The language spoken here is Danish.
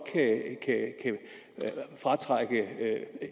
fratrække